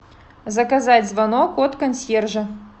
заказать звонок от консьержа